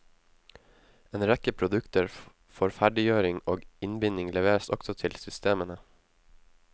En rekke produkter for ferdiggjøring og innbinding leveres også til systemene.